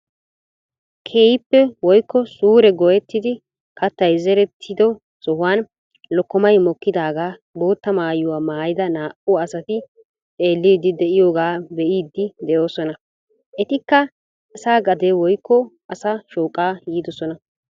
Keehippe woykko suure gooyetti kaattay zerettido sohuwaan lokkomaay mokkidagaa bootta mayuwaa maayida naa"u asati xeellidi de'iyoogaa be'idi de'ossona. Ettikka asa gade woykko asa shooqaa yiidosona.